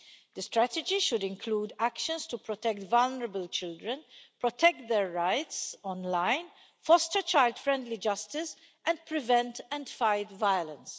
The strategy should include actions to protect vulnerable children, protect their rights online, foster child friendly justice and prevent and fight violence.